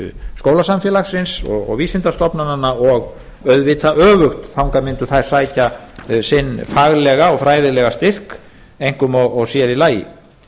skólasamfélagsins og vísindastofnananna og auðvitað öfugt þangað mundu þær sækja sinn faglega og fræðilega styrk einkum og sér í lagi